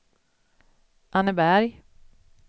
Anneberg